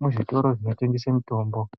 muzvitoro zvinotengese mitombo.